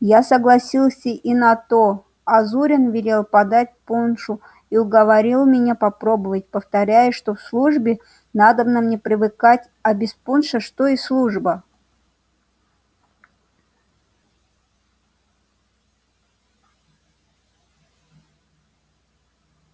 я согласился и на то а зурин велел подать пуншу и уговорил меня попробовать повторяя что к службе надобно мне привыкать а без пуншу что и служба